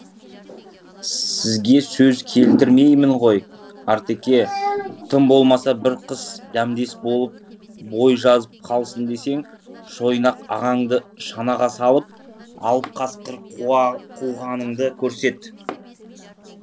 сізге сөз келтірмеймін ғой артеке тым болмаса бір қыс дәмдес болып бой жазып қалсын десең шойнақ ағаңды шанаға салып алып қасқыр қуғаныңды көрсет